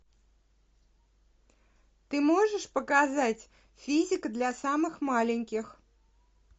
ты можешь показать физика для самых маленьких